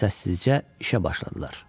Səssizcə işə başladılar.